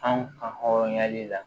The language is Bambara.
Anw ka hɔrɔnya le la